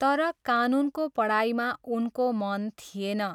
तर, कानुनको पढाइमा उनको मन थिएन।